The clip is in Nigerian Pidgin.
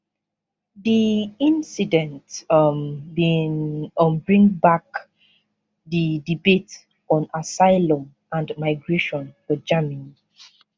di incident um bin um bring back di debate on asylum and migration for germany